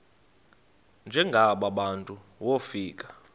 njengaba bantu wofika